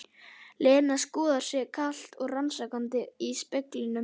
Lena skoðar sig kalt og rannsakandi í speglunum.